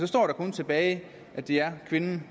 står der kun tilbage at det er kvinden